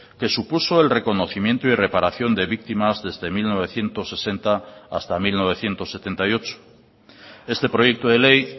que supuso el reconocimiento y reparación de víctimas desde mil novecientos sesenta hasta mil novecientos setenta y ocho este proyecto de ley